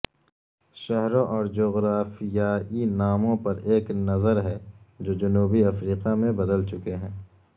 شہروں اور جغرافیایی ناموں پر ایک نظر ہے جو جنوبی افریقہ میں بدل چکے ہیں